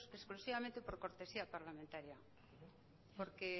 exclusivamente por cortesía parlamentaria porque